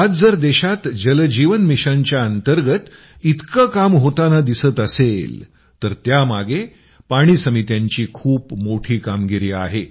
आज जर देशात जल जीवन मिशनच्या अंतर्गत इतकं काम होतान दिसत असेल तर त्यामागे पाणी समित्यांची खूप मोठी कामगिरी आहे